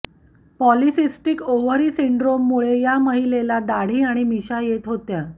polycystic ovary सिंड्रोममुळे या महिलाला दाढी आणि मिशा येत होत्या